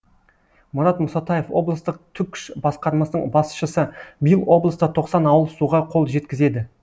мұрат мұсатаев облыстық түкш басқармасының басшысы биыл облыста тоқсан ауыл суға қол жеткізеді